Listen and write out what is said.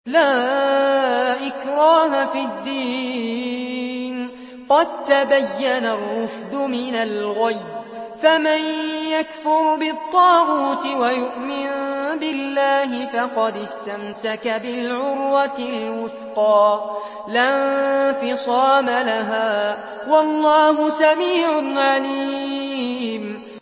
لَا إِكْرَاهَ فِي الدِّينِ ۖ قَد تَّبَيَّنَ الرُّشْدُ مِنَ الْغَيِّ ۚ فَمَن يَكْفُرْ بِالطَّاغُوتِ وَيُؤْمِن بِاللَّهِ فَقَدِ اسْتَمْسَكَ بِالْعُرْوَةِ الْوُثْقَىٰ لَا انفِصَامَ لَهَا ۗ وَاللَّهُ سَمِيعٌ عَلِيمٌ